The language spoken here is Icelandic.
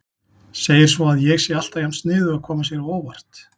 Segir svo að ég sé alltaf jafn sniðug að koma sér á óvart.